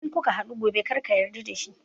In kuka haɗu gobe karka yarda da shi!